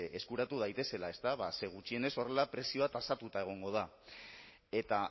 eskuratu daitezela gutxienez horrela prezioa tasatuta egongo da eta